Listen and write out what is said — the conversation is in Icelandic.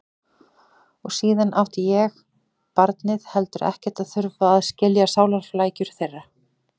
Og síðan átti ég, barnið, heldur ekkert að þurfa að skilja sálarflækjur þeirra.